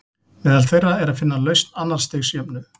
Meðal þeirra er að finna lausn annars stigs jöfnu.